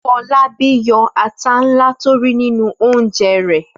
Fọlábí yọ ata ńlá tí ó rí nínú oúnjẹ rẹ̀.